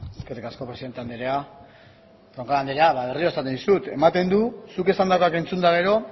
eskerrik asko presidente andrea roncal andrea berriro esaten dizut ematen du zuk esandakoak entzun eta gero